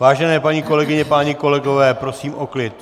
Vážené paní kolegyně, páni kolegové, prosím o klid.